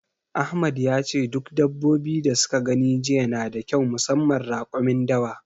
Ahmad yace duk dabbobi da suka gani jiya nada kyau musamman raƙumin dawa.